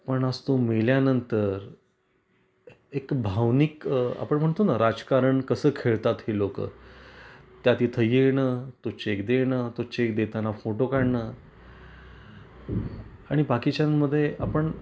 पण आज तो मेल्यानंतर एक भावनिक आपण म्हणतो ना राजकारण कस खेळतात ही लोक, त्या तिथे येण, तो चेक देण, तो चेक देताना फोटो काढण आणि बाकीच्यान मध्ये आपण